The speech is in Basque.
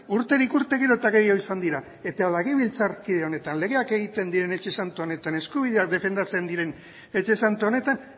urterik urte gero eta gehiago izan dira eta legebiltzar honetan legeak egiten diren etxe santu honetan eskubideak defendatzen diren etxe santu honetan